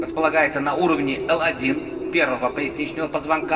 располагается на уровне л один первого поясничного позвонка